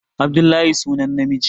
Abdullahi sunan namiji